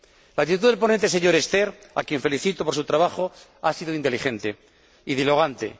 La actitud del ponente, señor Sterckx, a quien felicito por su trabajo, ha sido inteligente y dialogante.